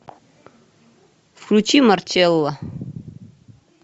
включи марчелло